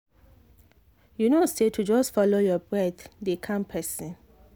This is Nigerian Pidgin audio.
you know say to just follow your breath dey calm person.